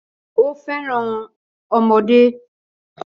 Ó fẹ́ràn ọmọdé